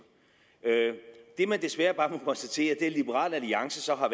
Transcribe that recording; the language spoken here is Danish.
det man desværre bare må konstatere er at liberal alliance så har